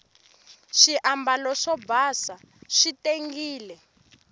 swiambalo swo basa swi tengile